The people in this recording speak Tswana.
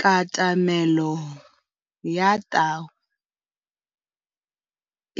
Katamêlô ya tau